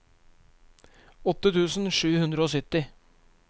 åtte tusen sju hundre og sytti